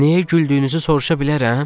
Niyə güldüyünüzü soruşa bilərəm?